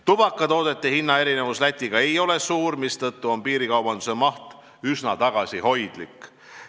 Tubakatoodete hinnaerinevus Lätiga võrreldes ei ole suur, mistõttu on piirikaubanduse maht üsna tagasihoidlik.